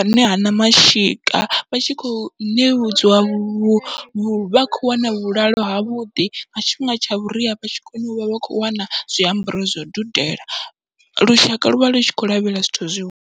ane o hana mashika vha tshi kho ṋewedzwa vhu vhu vhatshi kho wana vhulalo havhuḓi nga tshifhinga tsha vhuria vha tshikona uvha vha kho wana zwiambaro zwau dudela, lushaka luvha lutshi khou lavhelela zwithu zwi.